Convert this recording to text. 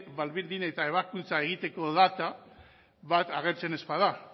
baldin eta ebakuntza egiteko data bat agertzen ez bada